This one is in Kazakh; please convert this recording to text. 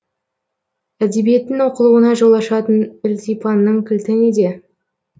әдебиеттің оқылуына жол ашатын ілтипанның кілті неде